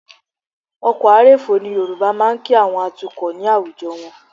Ọkọ̀ a rèfó ni Yorùbá máa ń kí àwọn atukọ̀ ní àwùjọ wọn